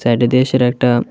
এটি দেশের একটা--